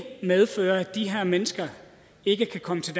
medfører at de her mennesker ikke kan komme til